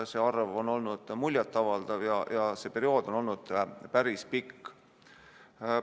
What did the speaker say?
See arv on olnud muljet avaldav ja see periood on olnud päris pikk.